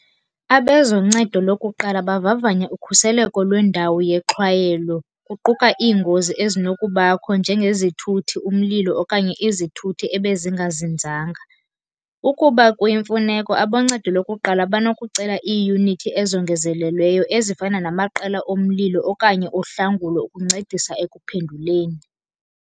Abezoncedo lokuqala bavavanya ukhuseleko lwendawo yexhwayelo kuquka iingozi ezinokubakho njengezithuthi, umlilo okanye izithuthi ebezingazinzanga. Ukuba kuyimfuneko aboncedo lokuqala banokucela iiyunithi ezongezelelweyo ezifana namaqela omlilo okanye ohlangulo ukuncedisa ekuphenduleni.